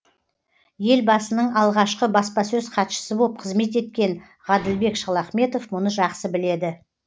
елбасының алғашқы баспасөз хатшысы боп қызмет еткен ғаділбек шалахметов мұны жақсы біледі